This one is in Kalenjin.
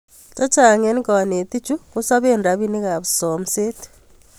Che chang' eng' kanetik chu kosopeei rapinik ap somset